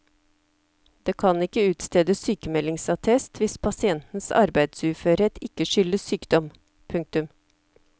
Det kan ikke utstedes sykemeldingsattest hvis pasientens arbeidsuførhet ikke skyldes sykdom. punktum